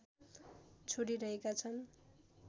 छोडिरहेका छन्